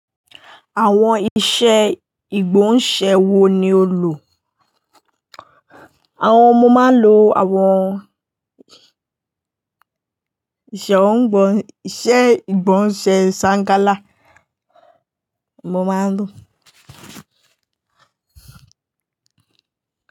Àwọn ìṣe ìgbóhúnṣẹ́ wo ni o lò? Àwọn mo máa ń lo àwọn ṣe òún gbọn, ṣe ìgbóhúnṣẹ́ sàngalà, mọ máa ń lò.